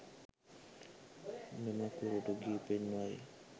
මෙම කුරුටු ගී පෙන්වයි